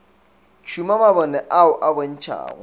tšhuma mabone ao a bontšhago